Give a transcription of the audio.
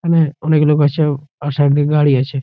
এখানে অনেক লোক আছে আর সাইড দিয়ে গাড়ি আছে।